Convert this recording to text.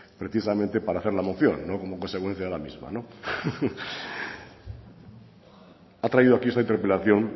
precisamente para hacer la moción no como consecuencia de la misma ha traído aquí esta interpelación